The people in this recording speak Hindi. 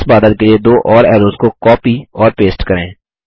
इस बादल के लिए दो और ऐरोज़ को कॉपी और पेस्ट करें